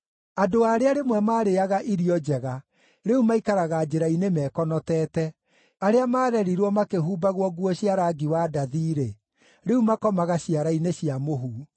Andũ arĩa rĩmwe maarĩĩaga irio njega, rĩu maikaraga njĩra-inĩ mekonotete, arĩa maarerirwo makĩhumbagwo nguo cia rangi wa ndathi-rĩ, rĩu makomaga ciara-inĩ cia mũhu.